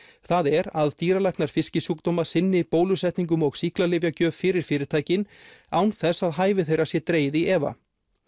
það er að dýralæknar fiskisjúkdóma sinni bólusetningum og sýklalyfjagjöf fyrir fyrirtækin án þess að hæfi þeirra sé dregið í efa